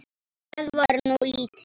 Það var nú lítið!